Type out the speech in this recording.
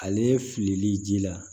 Ale filili ji la